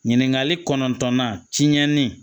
Ɲininkali kɔnɔntɔnnan tiɲɛni